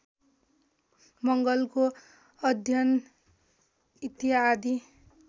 मंगलको अध्ययन इत्यादि